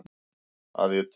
Að ég tel.